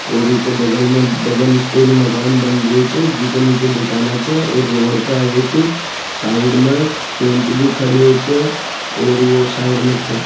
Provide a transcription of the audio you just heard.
और ऊ का बगल में डबल स्टोरी मकान बन रहे हो छ जी के नीचे दुकान छ और रोड पर एक साइड में टेंपो भी खड़ी हो छ और वह साइड में --